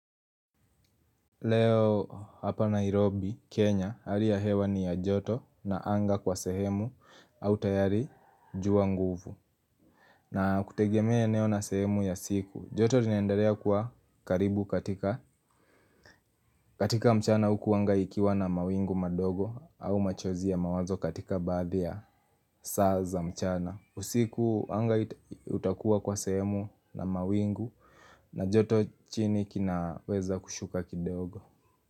Leo hapa Nairobi, Kenya, hali ya hewa ni ya joto na anga kwa sehemu au tayari jua nguvu. Na kutegemea eneo na sehemu ya siku, joto linaendelea kuwa karibu katika mchana huku anga ikiwa na mawingu madogo au machozi ya mawazo katika baadhi ya saa za mchana. Usiku anga utakuwa kwa sehemu na mawingu na joto chini kinaweza kushuka kidogo.